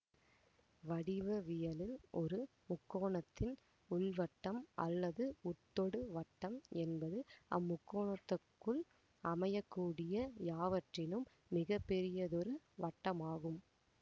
வடிவவியலில் ஒரு முக்கோணத்தின் உள்வட்டம் அல்லது உட்தொடுவட்டம் என்பது அம்முக்கோணத்துக்குள் அமையக்கூடிய யாவற்றினும் மிக பெரியதொரு வட்டமாகும்